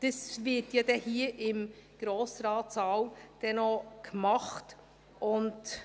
Das wird ja hier im Grossratssaal noch gemacht werden.